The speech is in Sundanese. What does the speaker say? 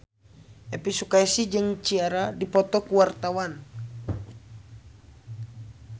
Elvi Sukaesih jeung Ciara keur dipoto ku wartawan